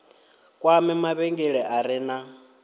kwame mavhengele a re na